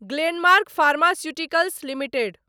Glenmark Pharmaceuticals limited